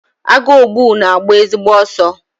Agụogbu na-agba ezigbo ọsọ.